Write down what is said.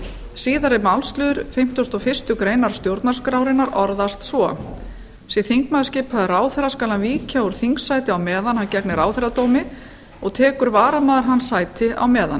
síðari málsliður fimmtugasta og fyrstu grein stjórnarskrárinnar orðast svo sé þingmaður skipaður ráðherra skal hann víkja úr þingsæti á meðan hann gegnir ráðherradómi og tekur varamaður hans sætið á meðan